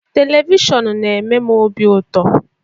Televishọnụ na-eme m obi ụtọ.